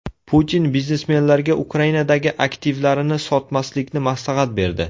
Putin biznesmenlarga Ukrainadagi aktivlarini sotmaslikni maslahat berdi.